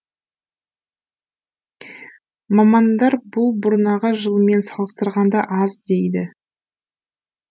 мамандар бұл бұрнағы жылмен салыстырғанда аз дейді